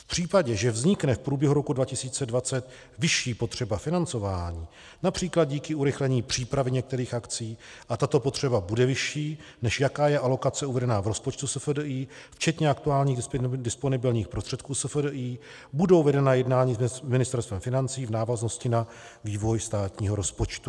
V případě, že vznikne v průběhu roku 2020 vyšší potřeba financování, například díky urychlení přípravy některých akcí, a tato potřeba bude vyšší, než jaká je alokace uvedená v rozpočtu SFDI včetně aktuálních disponibilních prostředků SFDI, budou vedena jednání s Ministerstvem financí v návaznosti na vývoj státního rozpočtu.